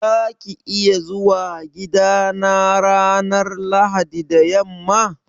Za ka iya zuwa gidana ranar Lahadi da yamma?